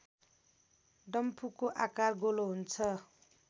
डम्फुको आकार गोलो हुन्छ